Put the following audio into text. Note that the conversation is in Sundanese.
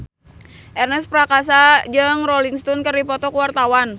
Ernest Prakasa jeung Rolling Stone keur dipoto ku wartawan